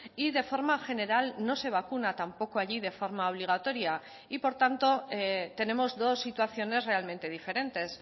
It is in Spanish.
y de forma general no se vacuna tampoco allí de forma obligatoria y por tanto tenemos dos situaciones realmente diferentes